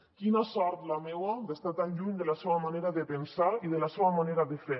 quina sort la meua d’estar tan lluny de la seua manera de pensar i de la seua manera de fer